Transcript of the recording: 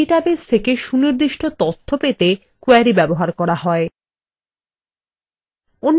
একটি ডাটাবেস থেকে সুনির্দিষ্ট তথ্য পেতে কোয়েরি ব্যবহার করা হয়